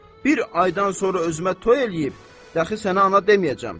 Bir aydan sonra özümə toy eləyib, dəxi sənə ana deməyəcəm.